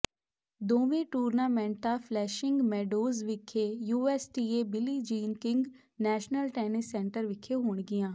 ਦੋਵੇਂ ਟੂਰਨਾਮੈਂਟਾਂ Flushing Meadows ਵਿਖੇ USTA Billie Jean King National Tennis Centre ਵਿਖੇ ਹੋਣਗੀਆਂ